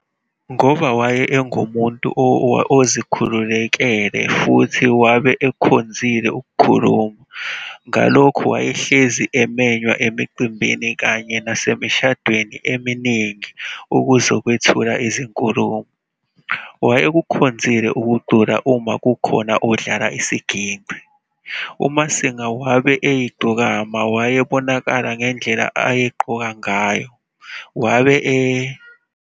Ngoba wabe ungumuntu ozikhululekele futhi wabe ekhonzile ukukhuluma, ngalokhu wayehlezi emenywa emicimbini kanye nasemishadweni eminingi ukuzokwethula izinkulumo. Wayekuhkonzile ukucula uma kukhona odlala isigingci. UMasinga wabe eyigcokama wayebonaka ngedlela ayagqoka ngayo, wabe e.